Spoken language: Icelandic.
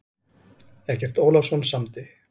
Eggert Ólafsson samdi.